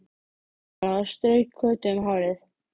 sagði Anna og strauk Kötu um hárið.